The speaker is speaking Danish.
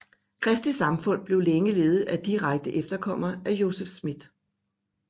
Kristi Samfund blev længe ledet af direkte efterkommere af Joseph Smith